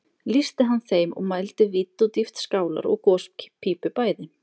Lýsti hann þeim og mældi vídd og dýpt skálar og gospípu bæði